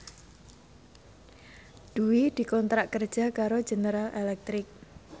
Dwi dikontrak kerja karo General Electric